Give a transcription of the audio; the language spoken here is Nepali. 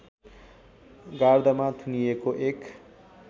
गारदमा थुनिएको एक